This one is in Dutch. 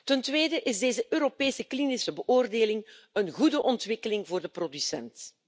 Ten tweede is deze Europese klinische beoordeling een goede ontwikkeling voor de producent.